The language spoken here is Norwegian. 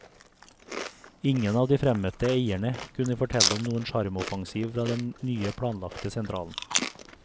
Ingen av de fremmøtte eierne kunne fortelle om noen sjarmoffensiv fra den nye planlagte sentralen.